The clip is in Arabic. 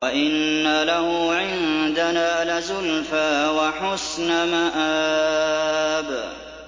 وَإِنَّ لَهُ عِندَنَا لَزُلْفَىٰ وَحُسْنَ مَآبٍ